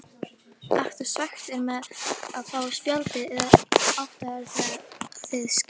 Ertu svekktur með að fá spjaldið eða áttirðu það skilið?